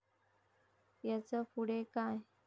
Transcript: यांचं पुढे काय?